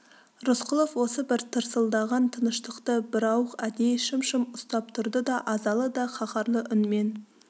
рысқұлов осы бір тырсылдаған тыныштықты бірауық әдейі шым-шым ұстап тұрды да азалы да қаһарлы үнмен